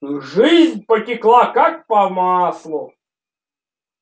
жизнь потекла как по маслу